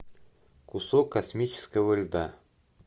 кусок космического льда